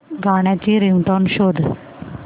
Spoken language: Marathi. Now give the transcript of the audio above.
गाण्याची रिंगटोन शोध